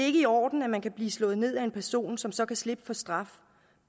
i orden at man kan blive slået ned af en person som så kan slippe for straf